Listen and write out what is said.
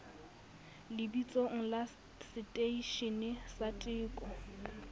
lebitsong la seteishene sa teko